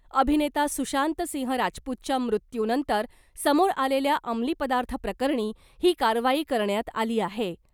अभिनेता सुशांत सिंह राजपूतच्या मृत्यूनंतर समोर आलेल्या अंमली पदार्थ प्रकरणी ही कारवाई करण्यात आली आहे .